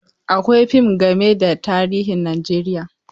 Akwai fim game da tarihin Najeriya.